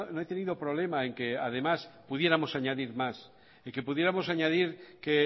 he tenido problema en que además pudiéramos añadir más en que pudiéramos añadir que